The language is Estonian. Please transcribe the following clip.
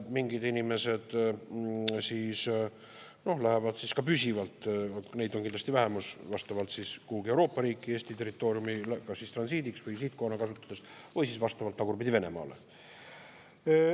Mingid inimesed lähevad ka püsivalt – neid on kindlasti vähemus – kuhugi Euroopa riiki Eesti territooriumi transiidiks, mitte sihtkohana kasutades või siis vastavalt Venemaale.